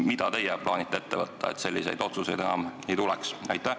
Mida teie plaanite ette võtta, et selliseid otsuseid enam ei tuleks?